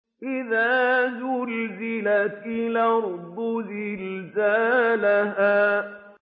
إِذَا زُلْزِلَتِ الْأَرْضُ زِلْزَالَهَا